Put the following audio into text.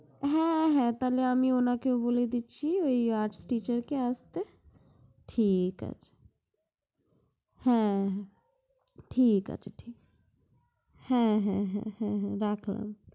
হ্যাঁ হ্যাঁ তাহলে আমি উনাকে বলে দিচ্ছি ঐ Arts teacher কে আসতে, ঠিক আছে। হ্যাঁ ঠিক আছে ঠিক আছে, হ্যাঁ হ্যাঁ হ্যাঁ হ্যাঁ রাখলাম